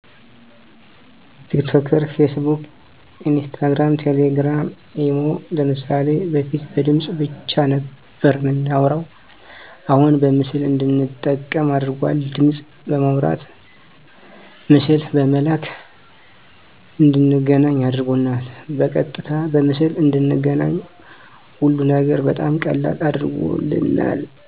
ቲክቶከር ፌስቡክ ኢንስታግራም ቴሌግራም ኢሞ ለምሳሌ በፊት በድምፅ ብቻ ነበር የምናወራሁ አሁን በምስል እንድንጠቀም አድርጓል ድምፅ በማውራት ምስል በመላላክ እንድንገናኝ አድርጎናል በቀጥታ በምስል እንድንገናኝ ሀሉን ነገር በጣም ቀላል አድርጎልናል